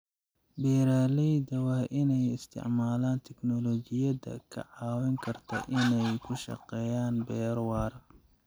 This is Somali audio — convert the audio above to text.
Beeralayda waa inay isticmaalaan tiknoolajiyada ka caawin karta inay ku shaqeeyaan beero waara.